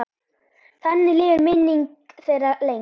Þannig lifir minning þeirra lengst.